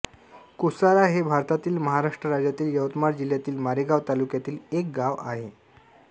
कोसारा हे भारतातील महाराष्ट्र राज्यातील यवतमाळ जिल्ह्यातील मारेगांव तालुक्यातील एक गाव आहे